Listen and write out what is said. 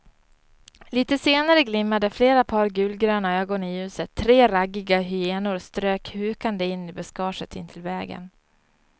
Litet senare glimmade flera par gulgröna ögon i ljuset, tre raggiga hyenor strök hukande in i buskaget intill vägen.